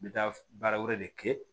N bɛ taa baara wɛrɛ de kɛ